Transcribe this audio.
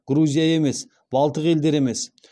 грузия емес балтық елдері емес